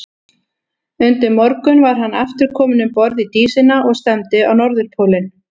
Undir morgun var hann aftur kominn um borð í Dísina og stefndi á Norðurpólinn.